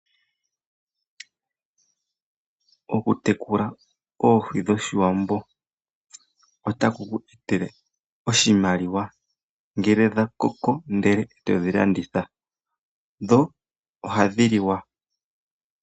Okutekula oohi dhoshiwambo otaku kweetele oshimaliwa ngele dha koko ndele eto dhi landitha dho ohadhi liwa.